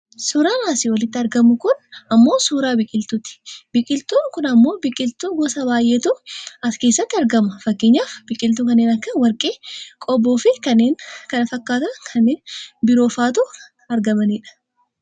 Suuraan asii olitti argamu kun ammoo suuraa biqiltuuti. Biqiltuun kun ammoo Biqiltuu gosa baayyeetu as keessatti argama fakkeenyaaf Biqiltuu kanneen akka warqee, qobboofi kanneen kana fakkaatan kanneen biroofaatu kan argamanidha.